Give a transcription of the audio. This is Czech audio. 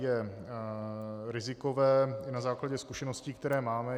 Je rizikové i na základě zkušeností, které máme.